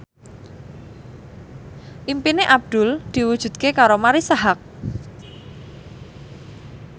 impine Abdul diwujudke karo Marisa Haque